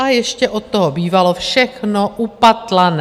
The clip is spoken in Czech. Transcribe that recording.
A ještě od toho bývalo všechno upatlané.